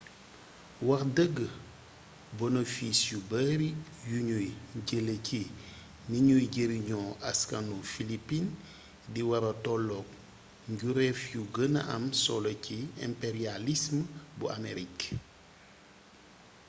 wax dëgg bonofis yu bari yuñuy jëlee ci niñuy jariñoo askanu filipin di wara tollook njuréef yu gëna am solo ci imperiyalism bu amerik